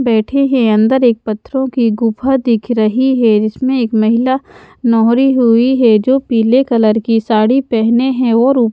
बैठे हैं अंदर एक पत्थरों की गुफा दिख रही है जिसमें एक महिला नोहरी हुई है जो पीले कलर की साड़ी पहने हैं और--